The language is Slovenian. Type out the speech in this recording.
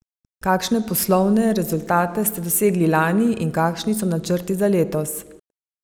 Kakšne poslovne rezultate ste dosegli lani in kakšni so načrti za letos?